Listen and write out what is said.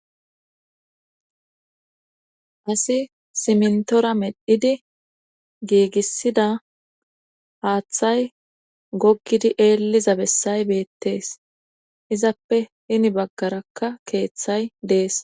assiy simntora medhidi giigissida haaththay gokkidi eelliza bessay beettees izappe hini baggarakka keeththay dees